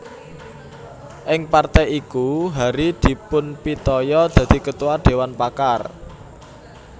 Ing partai iku Hary dipunpitaya dadi Ketua Dewan Pakar